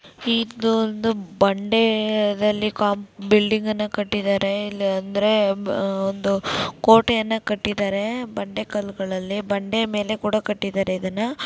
ಇದೊಂದು ಬಂಡೆ ದಲ್ಲಿ ಕಾಮ್ ಬಿಲ್ಡಿಂಗ್ ಅನ್ನ ಕಟ್ಟಿದ್ದಾರೆ ಇಲ್ಲ ಅಂದ್ರೆ ಒಂದು ಕೋಟೆಯನ್ನ ಕಟ್ಟಿದರೆ ಬಂಡೆ ಕಲ್ಗಳಲ್ಲಿ ಬಂಡೆ ಮೇಲ್ಗಡೆ ಕೂಡ ಕಟ್ಟಿದರೆ ಇದುನ್ನ .